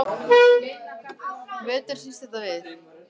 Það var eins og henni kæmi þetta bara ekkert við.